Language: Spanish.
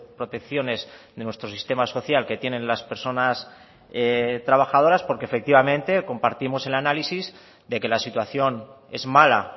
protecciones de nuestro sistema social que tienen las personas trabajadoras porque efectivamente compartimos el análisis de que la situación es mala